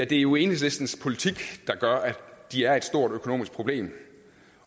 det er jo enhedslistens politik der gør at de er et stort økonomisk problem